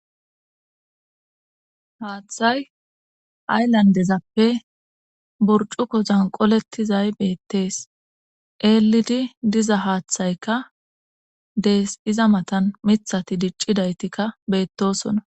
haaththay ayllandezappe burcuko zan qolettizay beettees eelidi diza haaththaykka dees iza matan mithati diccidaytikka beettosona